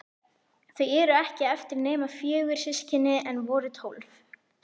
Þau eru ekki eftir nema fjögur, systkinin, en voru tólf.